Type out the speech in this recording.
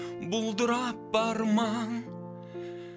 бұлдырап бар маң